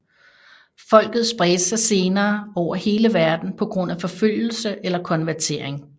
Folket spredte sig senere over hele verden på grund af forfølgelse eller konvertering